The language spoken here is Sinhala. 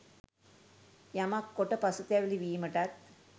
යමක් කොට පසුතැවිලි වීමටත්